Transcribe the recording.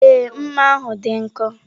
Ee, mma ahụ dị nkọ.